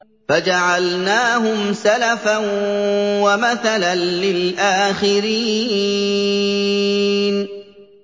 فَجَعَلْنَاهُمْ سَلَفًا وَمَثَلًا لِّلْآخِرِينَ